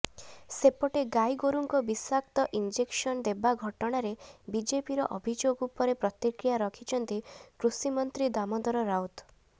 ସେପଟେ ଗାଇଗୋରୁଙ୍କ ବିଷାକ୍ତ ଇଂଜେକ୍ସନ ଦେବା ଘଟଣାରେ ବିଜେପିର ଅଭିଯୋଗ ଉପରେ ପ୍ରତିକ୍ରିୟା ରଖିଛନ୍ତି କୃଷିମନ୍ତ୍ରୀ ଦାମୋଦର ରାଉତ